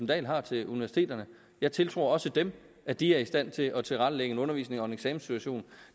dahl har til universiteterne jeg tiltror også dem at de er i stand til at tilrettelægge en undervisning og en eksamenssituation